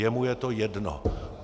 Jemu je to jedno.